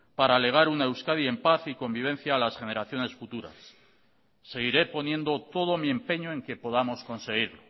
para legar una euskadi en paz y convivencia a las generaciones futuras seguiré poniendo todo mi empeño en que podamos conseguir